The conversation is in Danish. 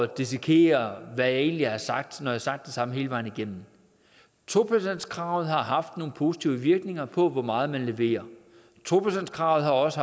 dissekere hvad jeg egentlig har sagt når jeg har sagt det samme hele vejen igennem to procentskravet har haft nogle positive virkninger på hvor meget man leverer to procentskravet har også